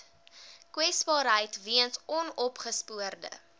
kwesbaarheid weens onopgespoorde